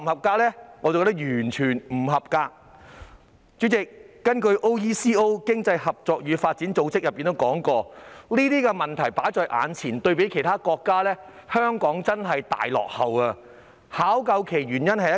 代理主席，根據經濟合作與發展組織，就目前的問題而言，對比其他國家，香港真是大落後，而原因只有一個。